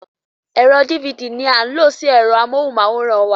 Ẹ̀rọ dívidì ní a ń lo sí ẹ̀rọ amóhùnmáwòrán wa.